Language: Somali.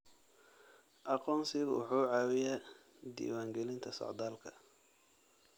Aqoonsigu wuxuu caawiyaa diiwaangelinta socdaalka.